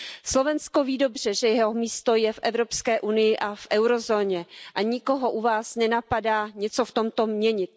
Slovensko ví dobře, že jeho místo je v Evropské unii a v eurozóně, a nikoho u vás nenapadá něco v tomto měnit.